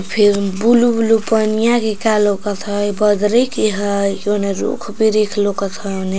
फिर blue blue पनिया कीका लौकत हई बदरी के हई ओने रुख बिरिख लौकत है ओने --